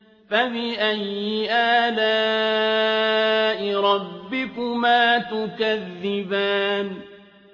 فَبِأَيِّ آلَاءِ رَبِّكُمَا تُكَذِّبَانِ